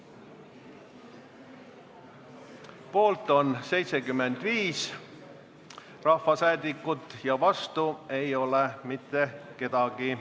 Hääletustulemused Poolt on 75 rahvasaadikut ja vastu ei ole keegi.